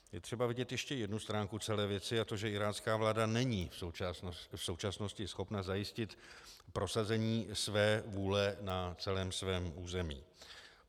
Je třeba vidět ještě jednu stránku celé věci, a to že irácká vláda není v současnosti schopna zajistit prosazení své vůle na celém svém území.